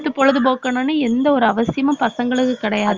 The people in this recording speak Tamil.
எடுத்து பொழுதுபோக்கனும்னு எந்த ஒரு அவசியமும் பசங்களுக்கு கிடையாது